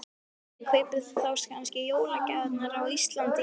Guðný: Kaupið þið þá kannski jólagjafirnar á Íslandi í ár?